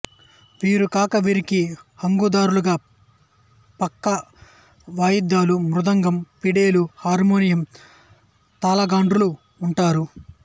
వీరు గాక వీరికి హంగు దార్లుగా ప్రక్క వాయిద్యాలు మృదంగం ఫిడేలు హర్మోనియం తాళగాండ్రు వుంటారు